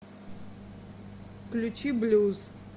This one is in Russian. включи блюз